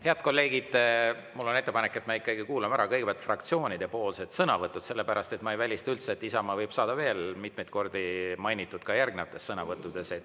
Head kolleegid, mul on ettepanek, et me ikkagi kuulame kõigepealt ära fraktsioonide sõnavõtud, sellepärast et ma ei välista üldse, et Isamaad võidakse veel mitmeid kordi mainida järgnevates sõnavõttudes.